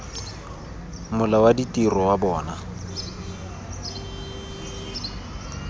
mola wa ditiro wa bona